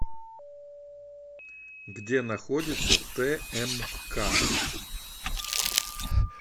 где находится тмк